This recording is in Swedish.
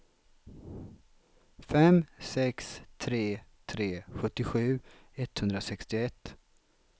fem sex tre tre sjuttiosju etthundrasextioett